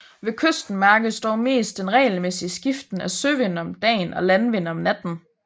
Ved kysten mærkes dog mest den regelmæssige skiften af søvind om dagen og landvind om natten